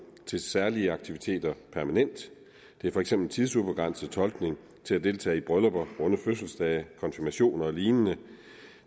til særlige aktiviteter permanent det er for eksempel tidsubegrænset tolkning til at deltage i bryllupper runde fødselsdage konfirmationer og lignende